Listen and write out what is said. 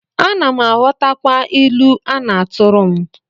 Ana m aghọtakwa ilu a na-atụrụ m